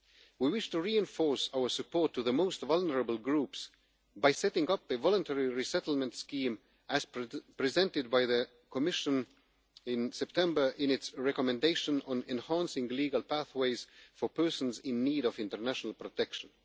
We wish to reinforce our support to the most vulnerable groups by setting up a voluntary resettlement scheme, as presented by the Commission in September in its recommendation on enhancing legal pathways for persons in need of international protection.